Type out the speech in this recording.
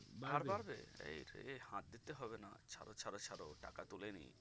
এই রে হাত দিতে হবে না ছাড়ো ছাড়ো ছাড়ো টাকা তুলে নিয়